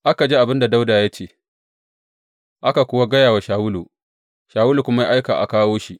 Aka ji abin da Dawuda ya ce, aka kuwa gaya wa Shawulu, Shawulu kuma ya aika a kawo shi.